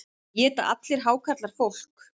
Éta allir hákarlar fólk?